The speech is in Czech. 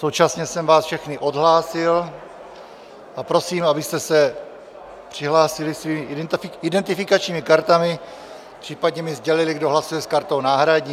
Současně jsem vás všechny odhlásil a prosím, abyste se přihlásili svými identifikačními kartami, případně mi sdělili, kdo hlasuje s kartou náhradní.